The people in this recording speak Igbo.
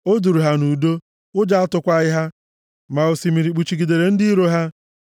O duuru ha nʼudo, ụjọ atụkwaghị ha, ma osimiri kpuchigidere ndị iro ha.